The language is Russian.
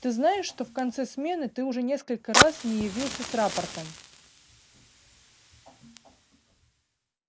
ты знаешь что в конце смены ты уже несколько раз не явился с рапортом